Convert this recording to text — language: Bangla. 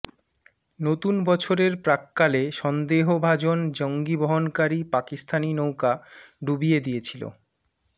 নতুন বছরের প্রাক্কালে সন্দেহভাজন জঙ্গি বহনকারী পাকিস্তানি নৌকা ডুবিয়ে দিয়েছিল